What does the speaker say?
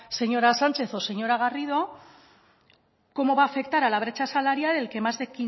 señora sánchez o señora garrido cómo va a afectar a la brecha salarial el que más de